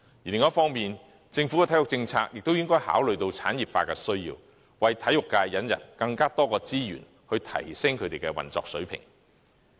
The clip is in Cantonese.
另一方面，政府的體育政策亦應該考慮到產業化的需要，為體育界引入更多資源，以提升運作水平。